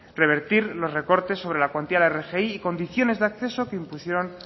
revertir los recortes sobre la cuantía de la rgi y condiciones de acceso que impusieron